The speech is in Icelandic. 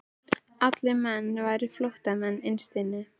Allir menn væru flóttamenn innst inni.